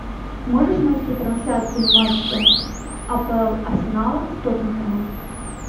можешь найти трансляцию матча апл арсенала с тоттенхэмом